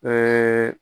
Ɛɛ